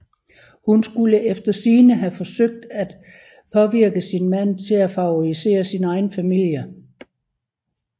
Hun skulle efter sigende have forsøgt at påvirke sin mand til at favorisere sin egen familie